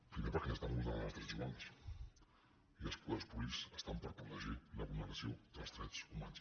primer perquè estan vulnerant els drets humans i els poders públics estan per protegir la vulneració dels drets humans